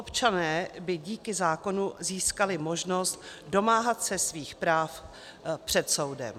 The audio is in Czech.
Občané by díky zákonu získali možnost domáhat se svých práv před soudem.